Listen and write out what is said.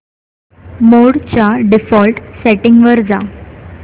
मोड च्या default settings वर जा